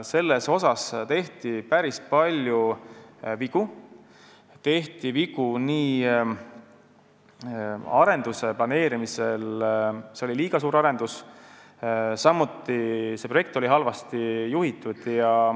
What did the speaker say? Selles suhtes tehti päris palju vigu arenduse planeerimisel, see oli liiga suur arendus, samuti oli see projekt halvasti juhitud.